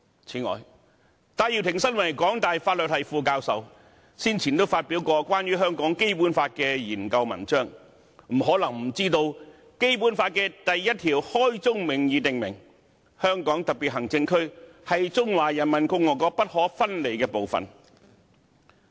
此外，戴耀廷身為港大法律系副教授，先前也曾發表關於香港《基本法》的研究文章，他不可能不知道《基本法》第一條開宗明義訂明，"香港特別行政區是中華人民共和國不可分離的部分"。